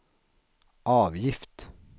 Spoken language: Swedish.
avgift